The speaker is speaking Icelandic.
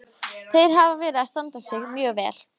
Þeir hafa verið að standa sig mjög vel.